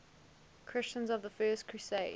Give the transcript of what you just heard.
christians of the first crusade